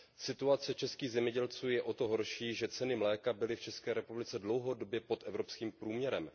Situace českých zemědělců je o to horší, že ceny mléka byly v České republice dlouhodobě pod evropským průměrem.